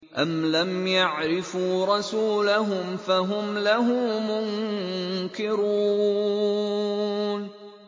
أَمْ لَمْ يَعْرِفُوا رَسُولَهُمْ فَهُمْ لَهُ مُنكِرُونَ